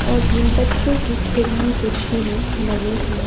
और भी बच्चों की खेलने के झूले लगे हुए--